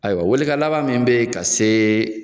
Ayiwa welekan laban min bɛ ye ka se